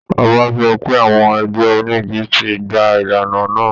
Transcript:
Ọba sọ pé àwọn ẹgbẹ́ onígi ti gbà ìlànà náà